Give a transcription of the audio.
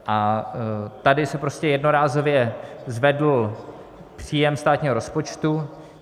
A tady se prostě jednorázově zvedl příjem státního rozpočtu.